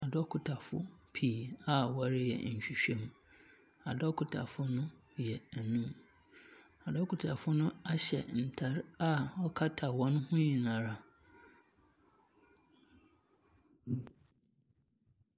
Adɔkotafoɔ pii a wɔreyɛ nhwehwɛmu. Adɔkotafo no yɛ enum. Adokotafo no ahyɛ ntar a ɔkata hɔn ho nyinara.